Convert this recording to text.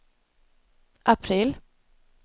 april